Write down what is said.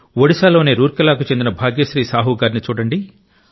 ఒడిశాలోని రూర్కెలాకు చెందిన భాగ్యశ్రీ సాహు గారిని చూడండి